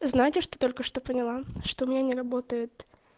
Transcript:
знаете что только что поняла что у меня не работает